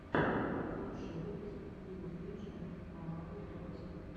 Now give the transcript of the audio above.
лучший выпуск пиюбиджи мобайл торти